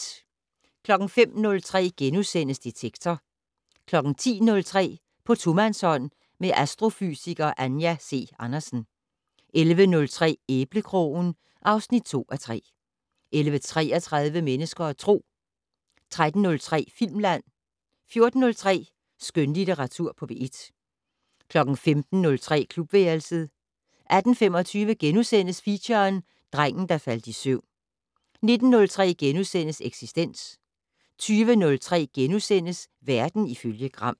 05:03: Detektor * 10:03: På tomandshånd med astrofysiker Anja C. Andersen 11:03: Æblekrogen (2:3) 11:33: Mennesker og Tro 13:03: Filmland 14:03: Skønlitteratur på P1 15:03: Klubværelset 18:25: Feature: Drengen, der faldt i søvn * 19:03: Eksistens * 20:03: Verden ifølge Gram *